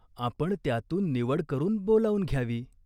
आपण त्यातून निवड करून बोलावून घ्यावी.